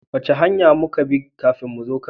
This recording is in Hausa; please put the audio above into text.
Wace hanya muka bi kafin muzo kano?